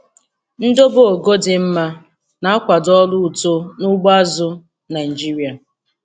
Ndobe ogo di mma na-akwado ọrụ uto n'ugbo azụ̀ Naịjiria.